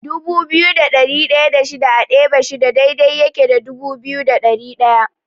Dubu biyu da ɗari ɗaya da shida a ɗebe shida daidai yake da dubu biyu da ɗari ɗaya.